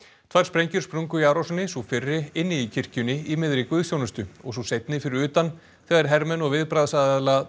tvær sprengjur sprungu í árásinni sú fyrri inni í kirkjunni í miðri guðsþjónustu og sú seinni fyrir utan þegar hermenn og viðbragðsaðila